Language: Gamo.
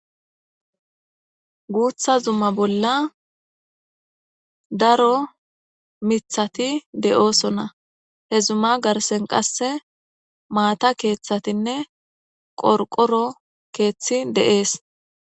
Guththa zumma bolla daro mithaththi de'ossona. He zuma garssen qasse maatha keethathinne qorqoro kethaththi dees.